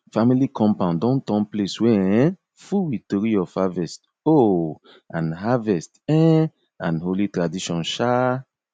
family compound don turn place wey um full with tori of harvest um and harvest um and holy tradition um